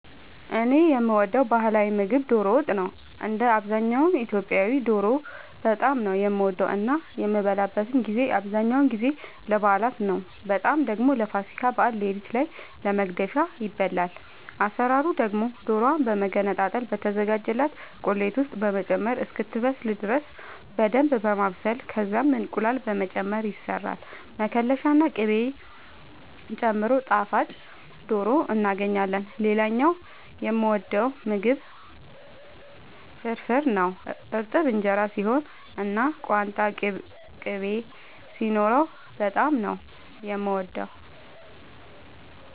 እኔ የምወደው ባህላዊ ምግብ ዶሮ ወጥ ነው። እንደ አብዛኛው ኢትዮጵያዊ ዶሮ በጣም ነው የምወደው እና የሚበላበትን ጊዜ አብዛኛውን ጊዜ ለበዓላት ነው በጣም ደግሞ ለፋሲካ በዓል ሌሊት ላይ ለመግደፊያ ይበላል። አሰራሩ ደግሞ ዶሮዋን በመገነጣጠል በተዘጋጀላት ቁሌት ውስጥ በመጨመር እስክትበስል ድረስ በደንብ በማብሰል ከዛም እንቁላል በመጨመር ይሰራል መከለሻ ና ቅቤ ጨምሮ ጣፋጭ ዶሮ እናገኛለን። ሌላኛው የምወደው ምግብ ፍርፍር ነው። እርጥብ እንጀራ ሲሆን እና ቋንጣ ቅቤ ሲኖረው በጣም ነው የምወደው።